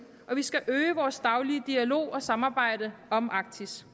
og vi skal øge vores daglige dialog og samarbejde om arktis